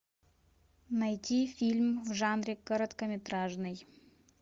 найти фильм в жанре короткометражный